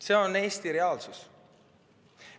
See on Eesti reaalsus.